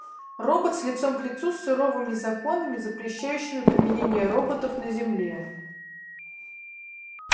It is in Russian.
роботс лицом к лицу с суровыми законами запрещающими применение роботов на земле